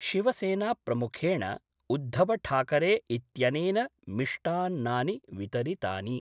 शिवसेनाप्रमुखेण उद्धवठाकरे इत्यनेन मिष्टान्नानि वितरितानि।